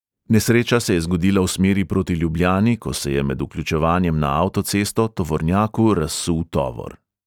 Nesreča se je zgodila v smeri proti ljubljani, ko se je med vključevanjem na avtocesto tovornjaku razsul tovor.